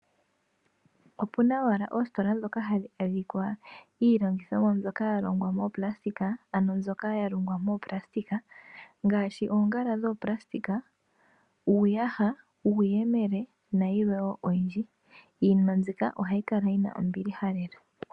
Opuna owala oositola ndhoka hadhi landitha owala iilandithomwa yalongwa moopulasitika, ngaashi oongala dhoopulasitika, uuyaha, uuyemele nayilwe oyindji niilandithomwa ndjika ohayi kala yina ombiliha.